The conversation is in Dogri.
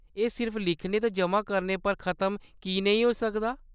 एह्‌‌ सिर्फ लिखने ते ज'मा करने पर खत्म की नेईं होई सकदा ?